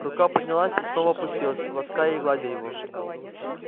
рука поднялась и снова опустилась лаская и гладя его